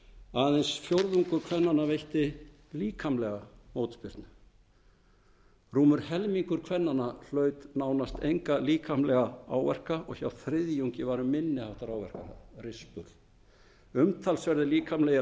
aðeins fjórðungur kvenna veitti líkamlega mótspyrnu rúmur helmingur kvenna hlaut nánast enga líkamlega áverka og hjá þriðjungi var um minni háttar áverka niður umtalsverðir líkamlegir